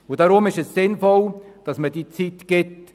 Deshalb ist es sinnvoll, dass man dem Büro diese Zeit gibt.